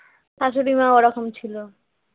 শাশুড়ি মা ওরকম ছিল